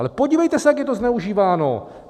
Ale podívejte se, jak je to zneužíváno!